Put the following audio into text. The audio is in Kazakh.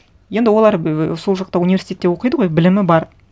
енді олар ііі сол жақта университетте оқиды ғой білімі бар